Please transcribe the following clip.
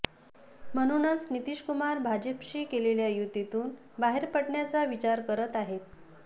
म्हणूनच नितीशकुमार भाजपशी केलेल्या युतीतून बाहेर पडण्याचा विचार करत आहेत